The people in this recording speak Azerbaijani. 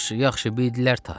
Yaxşı, yaxşı bildilər ta.